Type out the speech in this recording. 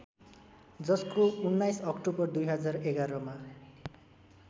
जसको १९ अक्टोबर २०११ मा